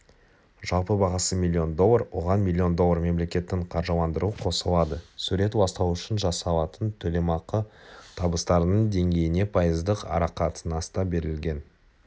жалпы бағасы миллион доллар оған миллион доллар мемлекеттің қаржыландыруы қосылады сурет ластау үшін жасалатын төлемақы табыстарының деңгейіне пайыздық арақатынаста берілген